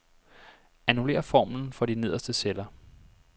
Annullér formlen for de nederste celler.